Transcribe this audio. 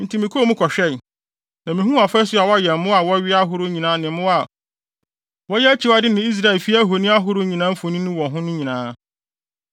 Enti mekɔɔ mu kɔhwɛe, na mihuu afasu a wɔayɛ mmoa a wɔwea ahorow nyinaa ne mmoa a wɔyɛ akyiwade ne Israelfi ahoni ahorow nyinaa mfoni wɔ ho nyinaa.